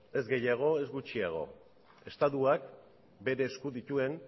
ez gehiago ez gutxiago estatuak bere esku dituen